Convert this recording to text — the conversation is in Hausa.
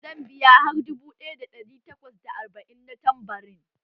Zan biya har dubu ɗaya da ɗari takwas da arba'in na tambarin?